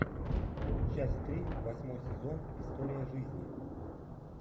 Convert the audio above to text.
часть три восьмой сезон история жизни